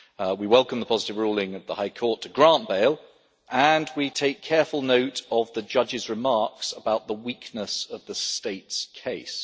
We welcome the positive ruling at the High Court to grant bail, and we take careful note of the judge's remarks about the weakness of the State's case.